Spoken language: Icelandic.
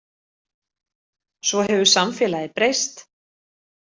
Svo hefur samfélagið breyst.